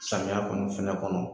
Samiya kɔnɔ fɛnɛ kɔnɔ